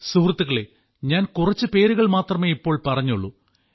സുഹൃത്തുക്കളേ ഞാൻ കുറച്ചു പേരുകൾ മാത്രമേ ഇപ്പോൾ പറഞ്ഞുള്ളൂ